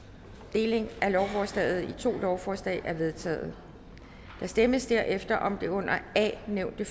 delingen af lovforslaget i to lovforslag er vedtaget der stemmes derefter om det under a nævnte